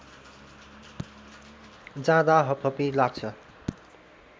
जाँदा हपहपी लाग्छ